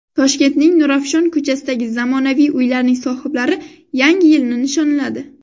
Toshkentning Nurafshon ko‘chasidagi zamonaviy uylarning sohiblari Yangi yilni nishonladi.